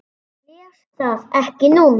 Ég les það ekki núna.